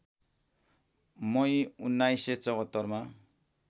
मई १९७४ मा